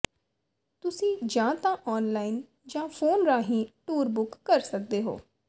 ਤੁਸੀਂ ਜਾਂ ਤਾਂ ਆਨਲਾਈਨ ਜਾਂ ਫ਼ੋਨ ਰਾਹੀਂ ਟੂਰ ਬੁੱਕ ਕਰ ਸਕਦੇ ਹੋ